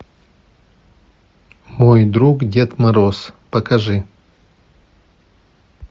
мой друг дед мороз покажи